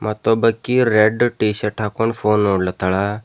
ಮತ್ತೊಬಾಕಿ red T shirt ಹಾಕೊಂಡ್ phone ನೋಡ್ಲಾತಳ.